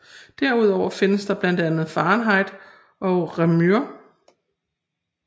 Derudover findes blandt andet fahrenheit og réaumur